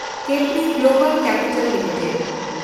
Capri Global Capital limited